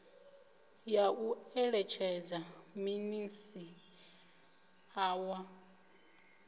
ya u eletshedza minisiṱa wa